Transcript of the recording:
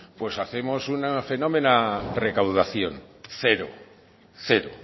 pues hacemos una fenómena recaudación cero cero